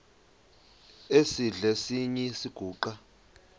esidl eziny iziguqa